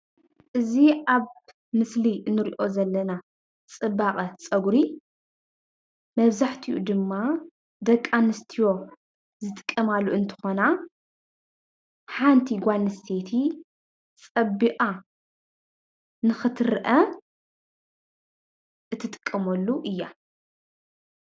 እዚ ኣብ ምስሊ ንሪኦ ዘለና ፅባቀ ፀጉሪ መብዛሕትኡ ድማ ደቂ ኣንስትዮ ዝጥቀማሉ እንትኮና; ሓንቲ ጋል ኣንስተይቲ ፀቢቃ ንክትረአ እትጥቀመሉ እያ።